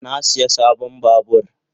Na siya sabon babur.